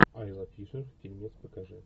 айла фишер фильмец покажи